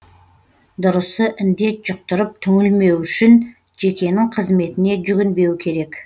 дұрысы індет жұқтырып түңілмеу үшін жекенің қызметіне жүгінбеу керек